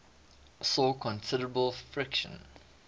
saw considerable friction